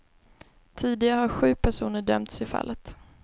Tidigare har sju personer dömts i fallet.